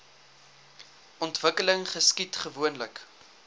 ontwikkeling geskied gewoonlik